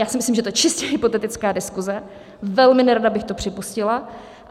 Já si myslím, že je to čistě hypotetická diskuze, velmi nerada bych to připustila.